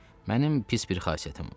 Mənim pis bir xasiyyətim var.